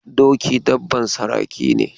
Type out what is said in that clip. Doki dabban saraki ne.